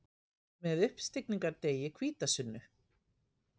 Með uppstigningardegi, hvítasunnu.